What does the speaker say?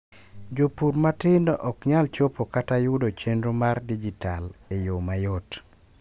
jopur matindo okyal chopo kata yudo chenro mar dijital e yoo mayot